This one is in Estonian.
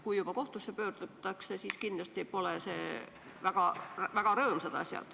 Kui juba kohtusse pöördutakse, siis kindlasti pole need asjad väga rõõmsad.